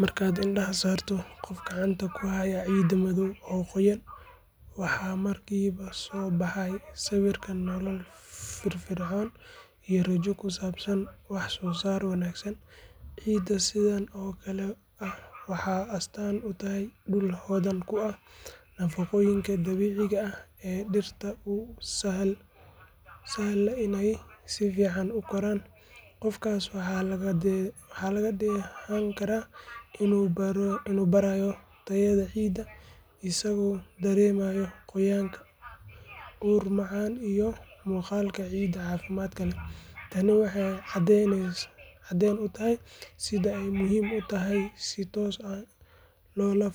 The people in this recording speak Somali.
Markaad indhaha saarto qof gacanta ku haya ciid madaw oo qoyaan, waxaa markiiba soo baxaya sawirka nolol firfircoon iyo rajo ku saabsan wax soo saar wanaagsan. Ciidda sidan oo kale ah waxay astaan u tahay dhul hodan ku ah nafaqooyinka dabiiciga ah ee dhirta u sahla inay si fiican u koraan. Qofkaas waxaa laga dheehan karaa inuu baarayo tayada ciidda, isagoo dareemaya qoyaan, ur macaan iyo muuqaalka ciid caafimaad leh. Tani waxay caddeyn u tahay sida ay muhiim u tahay in si toos ah loola